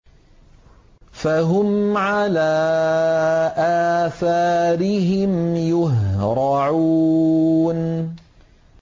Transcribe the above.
فَهُمْ عَلَىٰ آثَارِهِمْ يُهْرَعُونَ